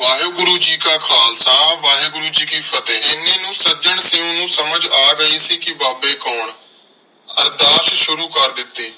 ਵਾਹਿਗੁਰੂ ਜੀ ਕਾ ਖਾਲਸਾ, ਵਾਹਿਗੁਰੂ ਜੀ ਕੀ ਫ਼ਤਿਹ। ਐਨੇ ਨੂੰ ਸੱਜਣ ਸਿੰਘ ਨੂੰ ਸਮਝ ਆ ਗਈ ਸੀ ਕਿ ਬਾਬੇ ਕੌਣ? ਅਰਦਾਸ ਸ਼ੁਰੂ ਕਰ ਦਿਤੀ